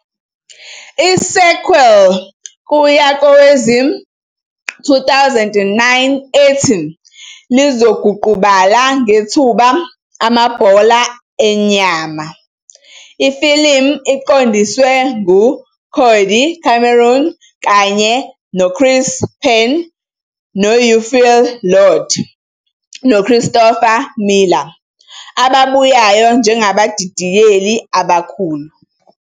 I-sequel kuya kowezi-2009 ethi "Lizoguqubala Ngethuba Amabhola Enyama", ifilimu iqondiswe ngu-Cody Cameron kanye no-Kris Pearn no-UPhil Lord noChristopher Miller ababuyayo njengabadidiyeli abakhulu.